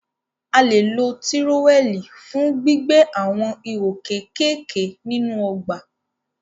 A lè lo tírówẹ̀l fún gbígbẹ́ àwọn ihò kékèké nínú ọgbà